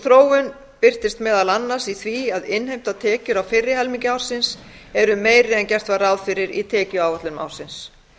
sú þróun birtist meðal annars í því að innheimtar tekjur á fyrri helmingi ársins eru meiri en gert var ráð fyrir í tekjuáætlun ársins